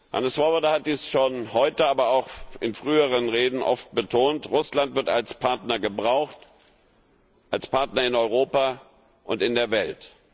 Hannes Swoboda hat dies schon heute, aber auch in früheren Reden oft betont Russland wird als Partner gebraucht, als Partner in Europa und in der Welt.